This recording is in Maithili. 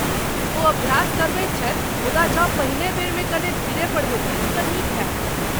ओ अभ्यास करबैत छथि मुदा जँ पहिने बेरमे कने धीरे पढ़ैथिन तँ नीक होयत।